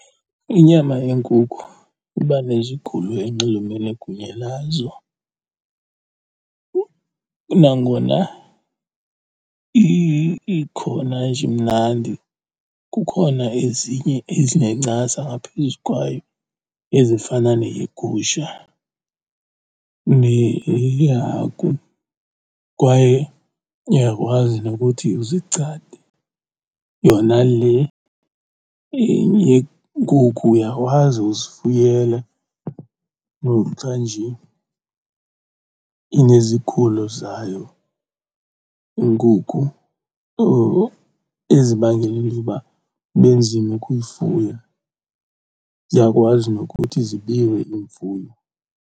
Inyama yenkukhu iba nezigulo enxulumene kunye nazo. Nangona ikhona nje imnandi kukhona ezinye ezinencasa ngaphezu kwayo ezifana neyegusha neyehagu kwaye uyakwazi nokuthi uzigcade. Yona le yenkukhu uyakwazi uzifuyela noxa nje inezigulo zayo inkukhu ezibangela into yoba kube nzima ukuyifuya. Ziyakwazi nokuthi zibiwe iimfuyo.